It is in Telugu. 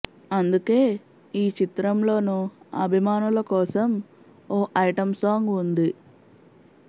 అందుకే ఈ చిత్రంలోనూ అభిమానుల కోసం ఓ ఐటమ్ సాంగ్ ఉంది